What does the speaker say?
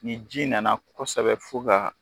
Ni ji nana kosɛbɛ fo kaa